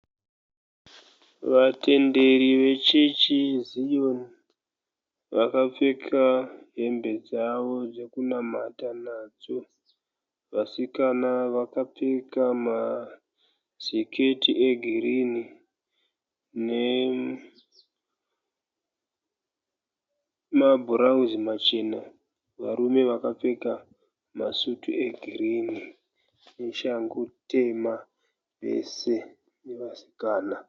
Vatenderi vechechi yeZiyoni vakapfeka hembe dzavo dzokunamata nadzo. Vasikana vakapfeka masiketi egirini nemabhurauzi machena. Varume vakapfeka masvutu egirini neshangu tema vese nevasikana.